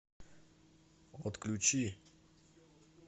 отключи